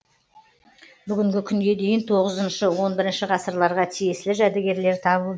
бүгінгі күнге дейін тоғызыншы он бірінші ғасырларға тиесілі жәдігерлер табылды